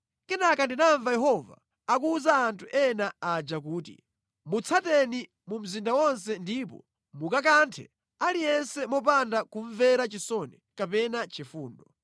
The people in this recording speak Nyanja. Kenaka ndinamva Yehova akuwuza anthu ena aja kuti, “Mutsateni mu mzinda wonse ndipo mukakanthe aliyense mopanda kumvera chisoni kapena chifundo.